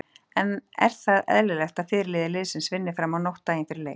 En er það eðlilegt að fyrirliði liðsins vinni fram á nótt daginn fyrir leik?